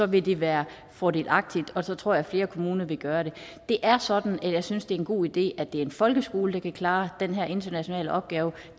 vil det være fordelagtigt og så tror jeg at flere kommuner vil gøre det det er sådan at jeg synes det en god idé at det er en folkeskole der kan klare den her internationale opgave